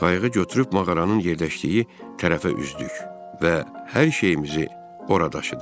Qayığı götürüb mağaranın yerləşdiyi tərəfə üzdük və hər şeyimizi ora daşıdıq.